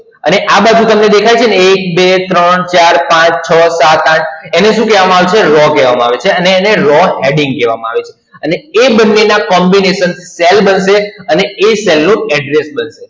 અને આ બાજુ તમને દેખાય છે ને એક, બે, ત્રણ, ચાર, પાંચ, છ, સાત, આઠ એને શું કહેવામા આવે છે? Raw કહેવામા આવે છે. અને એને Raw heading કહેવામા આવે છે. અને એ બંને ના Combination cell બનશે અને એ Cell નું Address બનશે.